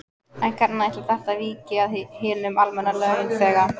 En hvernig ætlar þetta víki við hinum almenna launþega?